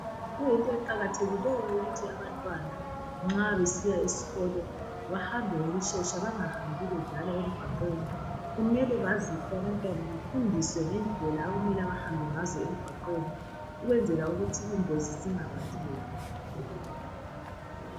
kuyinto eqakathekileyo ukuthi abantwana nxa besiya esikolo bahambe ngokushesha bangahambi bedlala emgwaqweni kumele baziswe abantwana befundiswe ngendlela okumele behambe ngazo emgwaqweni ukwenzela ukuthi ingozi zingabatholi